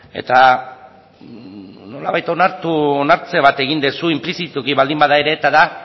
eta nolabait onartu onartze bat egin duzu inplizituki baldin bada ere eta da